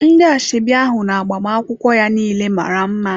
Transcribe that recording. Ndị asoebi ahụ na agbamakwụkwọ ya niile mara mma.